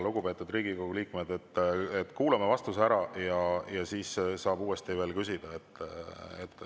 Lugupeetud Riigikogu liikmed, kuulame vastuse ära ja siis saab uuesti küsida.